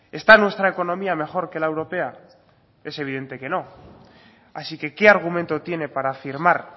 esta nuestra economía mejor que la europea es evidente que no así que qué argumento tiene para afirmar